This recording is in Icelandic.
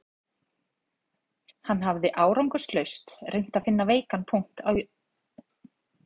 Hann hafði árangurslaust reynt að finna veikan punkt á Jónasi